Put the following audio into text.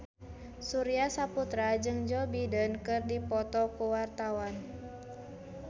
Surya Saputra jeung Joe Biden keur dipoto ku wartawan